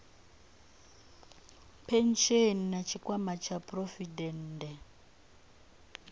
phesheni na tshikwama tsha phurovidende